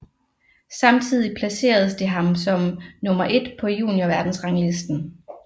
Samtidig placerede det ham som nummer et på juniorverdensranglisten